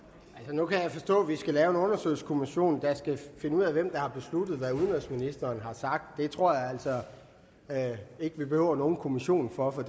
nu kan jeg forstå at vi skal lave en undersøgelseskommission der skal finde ud af hvem der har besluttet hvad udenrigsministeren har sagt det tror jeg altså ikke vi behøver nogen kommission for for